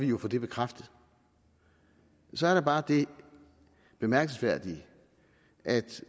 jo få det bekræftet så er der bare det bemærkelsesværdige at